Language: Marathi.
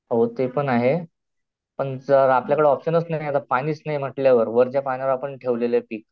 हो ते पण आहे, पण जर आपल्याकडे ऑपशनच नाही पाणीच नाही म्हंटल्यावर वरच्या पाण्यावर आपण ठेवलेलंय पीक